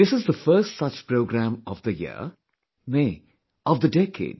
This is the first such programme of the year; nay, of the decade